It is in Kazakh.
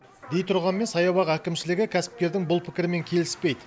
дей тұрғанмен саябақ әкімшілігі кәсіпкердің бұл пікірімен келіспейді